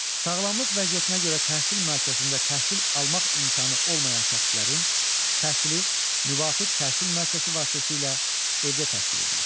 Sağlamlıq vəziyyətinə görə təhsil müəssisəsində təhsil almaq imkanı olmayan şəxslərin təhsili müvafiq təhsil müəssisəsi vasitəsilə evdə təşkil edilir.